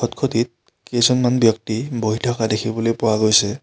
খট খটিত কেইজনমান ব্যক্তি বহি থকা দেখিবলৈ পোৱা গৈছে।